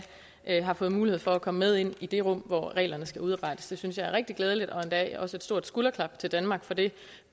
endda fået mulighed for at komme med ind i det rum hvor reglerne skal udarbejdes det synes jeg er rigtig glædeligt og endda også et stort skulderklap til danmark for det